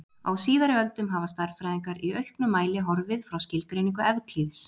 Á síðari öldum hafa stærðfræðingar í auknum mæli horfið frá skilgreiningu Evklíðs.